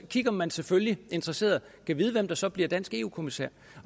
kigger man selvfølgelig interesseret gad vide hvem der så bliver dansk eu kommissær